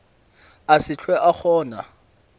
a se hlwe a kgona